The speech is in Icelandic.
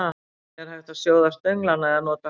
Einnig er hægt að sjóða stönglana eða nota hráa.